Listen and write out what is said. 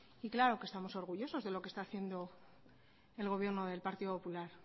y claro que estamos orgullosos de lo que está haciendo el gobierno del partido popular